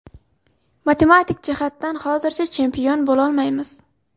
Matematik jihatdan hozircha chempion bo‘lolmaymiz.